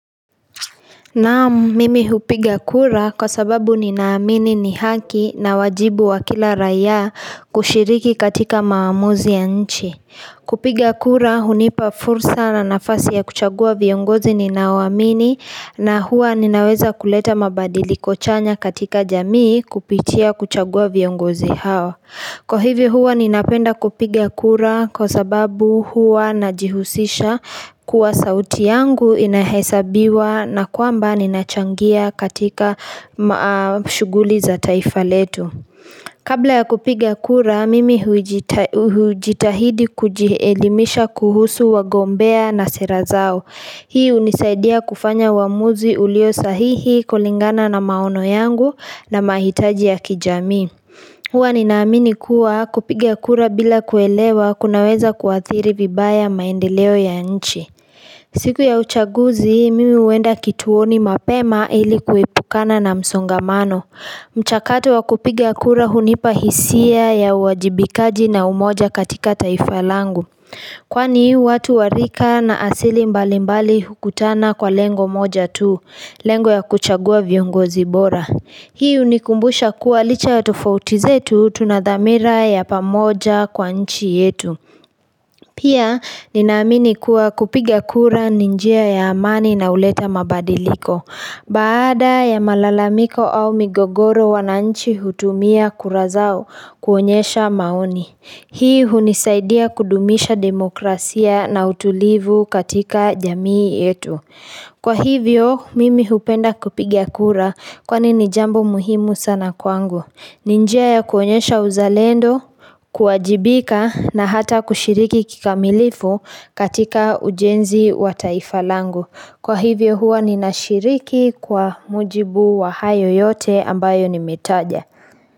Naam, mimi hupiga kura kwa sababu ninaamini ni haki na wajibu wa kila raia kushiriki katika maamuzi ya nchi. Kupiga kura hunipa fursa na nafasi ya kuchagua viongozi ninaoamini na huwa ninaweza kuleta mabadili chanya katika jamii kupitia kuchagua viongozi hao. Kwa hivi huwa ninapenda kupiga kura kwa sababu huwa najihusisha kuwa sauti yangu inahesabiwa na kwamba ninachangia katika maa shughuli za taifa letu. Kabla ya kupiga kura, mimi huijitahidi kujielimisha kuhusu wagombea na sera zao. Hii hunisaidia kufanya uamuzi ulio sahihi kulingana na maono yangu na mahitaji ya kijamii. Huwa ninaamini kuwa kupigia kura bila kuelewa kunaweza kuathiri vibaya maendeleo ya nchi. Siku ya uchaguzi, mimi huenda kituoni mapema ili kuepukana na msongamano. Mchakatu wa kupigia kura hunipa hisia ya uajibikaji na umoja katika taifa langu. Kwani, watu wa rika na asili mbalimbali hukutana kwa lengo moja tu, lengo ya kuchagua viongozi bora. Hii hunikumbusha kuwa licha ya tofauti zetu tuna dhamira ya pamoja kwa nchi yetu. Pia ninaamini kuwa kupiga kura ni njia ya amani na huleta mabadiliko. Baada ya malalamiko au migogoro wananchi hutumia kura zao kuonyesha maoni. Hii hunisaidia kudumisha demokrasia na utulivu katika jamii yetu. Kwa hivyo mimi hupenda kupiga kura kwani ni jambo muhimu sana kwangu. Ni njia ya kuonyesha uzalendo, kuajibika na hata kushiriki kikamilifu katika ujenzi wa taifa langu. Kwa hivyo huwa ninashiriki kwa mujibu wa hayo yote ambayo nimetaja.